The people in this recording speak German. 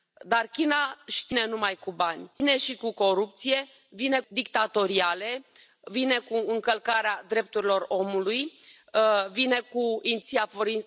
Wir Europäer fordern die Einhaltung der Menschenrechte und der Rechtsstaatlichkeit auch gegenüber einem wirtschaftlich so starken Handelspartner wie China.